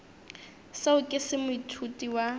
seo ke se moithuti wa